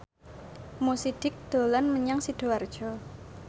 Mo Sidik dolan menyang Sidoarjo